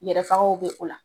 Yɛrɛ sagɔw bɛ o la